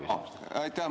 Aitäh!